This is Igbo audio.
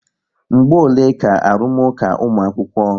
Mgbe ole ka arụmụka ụmu̻akwukwo?